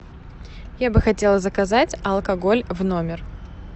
я бы хотела заказать алкоголь в номер